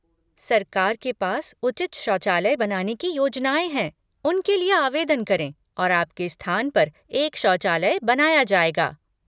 सरकार के पास उचित शौचालय बनाने की योजनाएँ हैं, उनके लिए आवेदन करें और आपके स्थान पर एक शौचालय बनाया जाएगा।